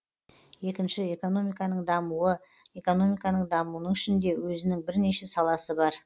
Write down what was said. екінші экономиканың дамуы экономиканың дамуының ішінде өзінің бірнеше саласы бар